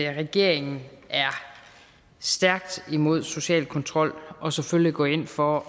regeringen er stærkt imod social kontrol og selvfølgelig går ind for